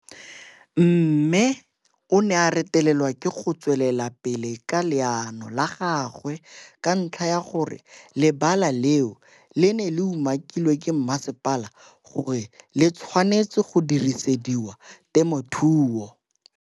Mme o ne a retelelwa ke go tswela pele ka leano la gagwe ka ntlha ya gore le bala leo le ne le umakilwe ke masepala gore le tshwanetse go dirisediwa temothuo.